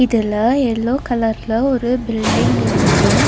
இதுல எல்லோ கலர்ல ஒரு பில்டிங் இருக்கு.